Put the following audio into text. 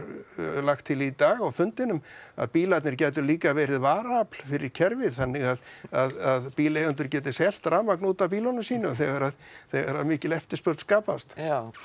lagt til í dag á fundinum að bílarnir gætu líka verið varaafl fyrir kerfið þannig að bílaeigendur gætu selt rafmagn út af bílunum sínum þegar þegar að mikil eftirspurn skapast já